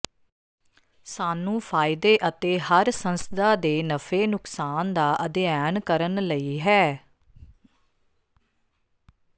ਸਾਨੂੰ ਫ਼ਾਇਦੇ ਅਤੇ ਹਰ ਸੰਸਥਾ ਦੇ ਨਫ਼ੇ ਨੁਕਸਾਨ ਦਾ ਅਧਿਐਨ ਕਰਨ ਲਈ ਹੈ